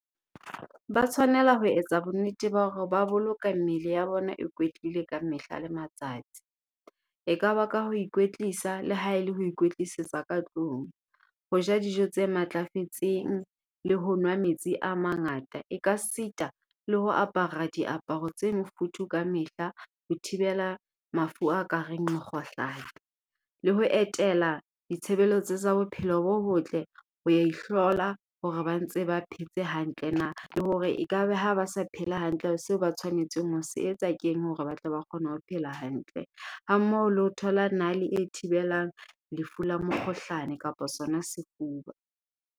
Ba tshwanela ho etsa bonnete ba hore ba boloka mmele ya bona e kwetlile kamehla le matsatsi. Ekaba ka ho ikwetlisa le ha e le ho ikwetlisetsa ka tlung, ho ja dijo tse matlafetseng le ho nwa metsi a mangata, e ka sita le ho apara diaparo tse mofuthu kamehla ho thibela mafu a kareng mekgohlano. Le ho etela ditshebeletso tsa bophelo bo botle ho ya ihlola hore ba ntse ba phetse hantle na. Le hore ekabe ha ba sa phela hantle seo ba tshwanetseng ho se etsa keng hore ba tle ba kgone ho phela hantle. Ha mmoho le ho thola nale e thibelang lefu la mokgohlane kapa sona sefuba.